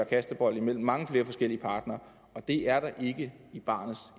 kastebold mellem mange flere forskellige partnere og det er da ikke i barnets